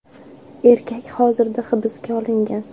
Erkak hozirda hibsga olingan.